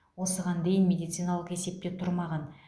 осыған дейін медициналық есепте тұрмаған